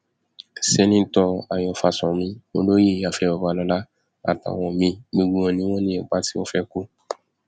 sẹńtítọ ayọ fásánmi olóyè afẹ babalọla àtàwọn míín gbogbo wọn ni wọn ní ipa tí wọn fẹẹ kó